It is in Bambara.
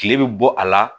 Kile bɛ bɔ a la